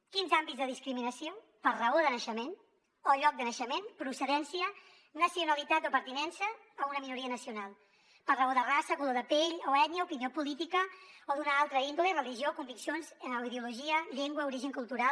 quinze àmbits de discriminació per raó de naixement o lloc de naixement procedència nacionalitat o pertinença a una minoria nacional per raó de raça color de pell o ètnia opinió política o d’una altra índole religió conviccions ideologia llengua origen cultural